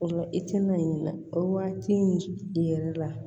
O la i tɛna ɲiniga o waati in yɛrɛ la